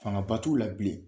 Fanga ba t'u la bilen.